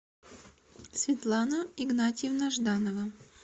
светлана игнатьевна жданова